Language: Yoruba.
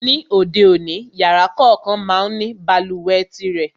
Ní ayé òde òní, yàrá kòókan má ń ní balùwẹ̀ tirẹ̀.